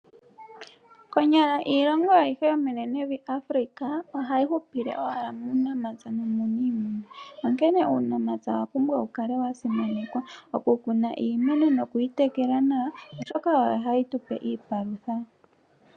Konyala iilongo ayihe yomenenevi Afrika ohayi hupile owala muunamapya nuuniimuna, onkene uunamapya owa pumbwa okukala wa simanekwa. Okukuna iimeno nokuyi tekela nawa, oshoka oyo hayi tu pe iipalutha.